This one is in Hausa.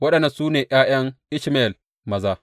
Waɗannan su ne ’ya’yan Ishmayel maza.